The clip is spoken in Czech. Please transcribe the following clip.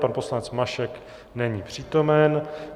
Pan poslanec Mašek není přítomen.